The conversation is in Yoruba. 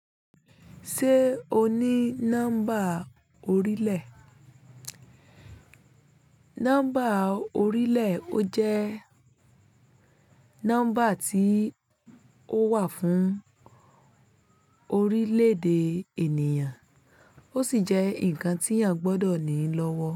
Ṣé o ní nọ́mbà orílẹ̀? Nọ́mbà orílẹ̀ ó jẹ́ nọ́mbà tí ó wà fún orílẹ̀ èdè ènìyàn, ó sì jẹ́ ǹkan tí ènìyàn gbọ́dọ̀ ní lọ́wọ́.